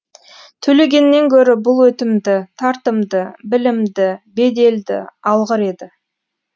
төлегеннен гөрі бұл өтімді тартымды білімді беделді алғыр еді